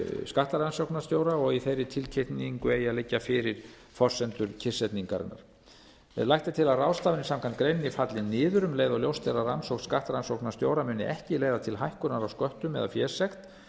skattrannsóknarstjóra og í þeirri tilkynningu eiga að liggja fyrir forsendur kyrrsetningarinnar lagt er til að ráðstafanir samkvæmt greininni falli niður um leið og ljóst er að rannsókn skattrannsóknarstjóra muni ekki leiða til hækkunar á sköttum eða fésekt